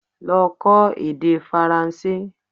Lọ kọ́ èdè Faranse!